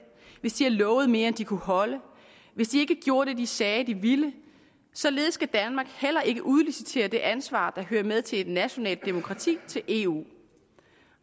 hvis de har lovet mere end de kunne holde og hvis de ikke gjorde det de sagde de ville således skal danmark heller ikke udlicitere det ansvar der hører med til et nationalt demokrati til eu